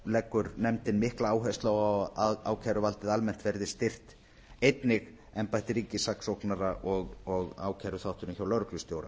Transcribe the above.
leggur nefndin mikla áherslu á að ákæruvaldið almennt verði styrkt einnig embætti ríkissaksóknara og ákæruþátturinn hjá lögreglustjóra